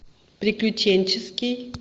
приключенческий